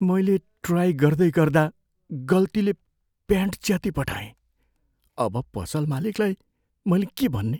मैले ट्राइ गर्दैगर्दा गल्तीले प्यान्ट च्यातिपठाएँ। अब पसल मालिकलाई मैले के भन्ने?